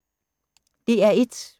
DR1